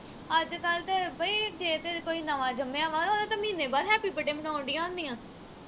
ਅੱਜ ਕੱਲ ਤੇ ਬਈ ਜੇ ਤੇ ਕੋਈ ਨਵਾਂ ਜੰਮਿਆ ਵਾ ਉਹਦਾ ਤਾਂ ਮਹੀਨੇ ਬਾਅਦ happy birthday ਮਨਾਉਣ ਦੀਆਂ ਹੁੰਦੀਆਂ